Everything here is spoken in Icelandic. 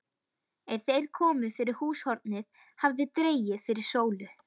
Er þeir komu fyrir húshornið hafði dregið fyrir sólu.